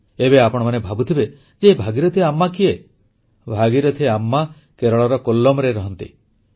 ଏବେ ଆପଣମାନେ ଭାବୁଥିବେ ଯେ ଏହି ଭାଗୀରଥି ଆମ୍ମା କିଏ ଭାଗୀରଥି ଆମ୍ମା କେରଳର କୋଲ୍ଲମରେ ରହନ୍ତି